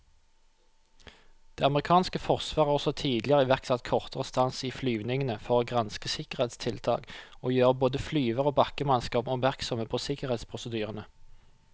Det amerikanske forsvaret har også tidligere iverksatt kortere stans i flyvningene for å granske sikkerhetstiltak og gjøre både flyvere og bakkemannskap oppmerksomme på sikkerhetsprosedyrene.